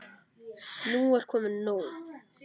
Nú er komið nóg!